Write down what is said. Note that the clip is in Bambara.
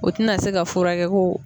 O tɛna se ka furakɛ ko